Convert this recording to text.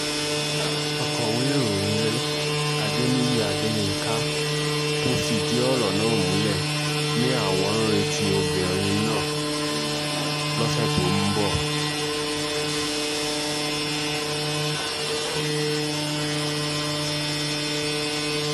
akọ̀wé ìròyìn rẹ̀ adéníyí adéyinka tó fìdìí ọ̀rọ̀ náà múlẹ̀ ni àwọn ń retí obìnrin náà lọ́sẹ̀ tó ń bọ̀